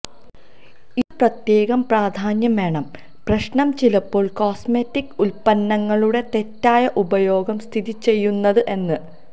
ഇത് പ്രത്യേകം പ്രാധാന്യം വേണം പ്രശ്നം ചിലപ്പോൾ കോസ്മെറ്റിക് ഉൽപ്പന്നങ്ങളുടെ തെറ്റായ ഉപയോഗം സ്ഥിതിചെയ്യുന്നത് എന്ന്